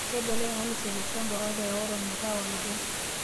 Keibelekeny kanisa ilo shampa oota eorro metaa olepesho